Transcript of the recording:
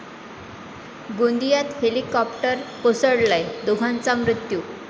गोंदियात हेलिकॉप्टर कोसळलं, दोघांचा मृत्यू